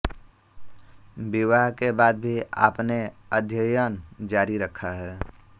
विवाह के बाद भी आपने अध्ययन जारी रखा